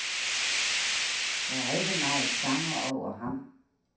Der er ikke meget sanger over ham.